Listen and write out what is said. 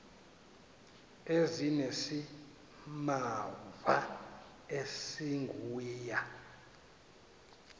ezinesimamva esingu ya